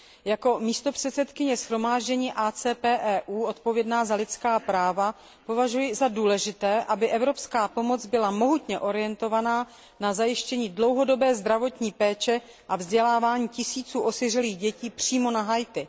Jako místopředsedkyně shromáždění AKT EU odpovědná za lidská práva považuji za důležité, aby evropská pomoc byla mohutně orientována na zajištění dlouhodobé zdravotní péče a vzdělávání tisíců osiřelých dětí přímo na Haiti.